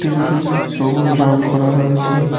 খুঁটিগুলি সবুজ রং করা রয়েছে।